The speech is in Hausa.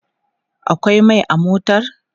akwai Mai a motar?